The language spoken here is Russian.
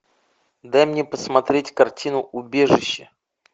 дай мне посмотреть картину убежище